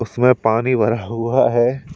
इसमें पानी भरा हुआ है।